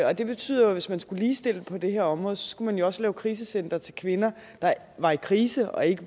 og det betyder at hvis man skulle ligestille på det her område skulle man også lave krisecentre til kvinder der var i krise og ikke